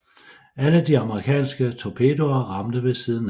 Alle de amerikanske torpedoer ramte ved siden af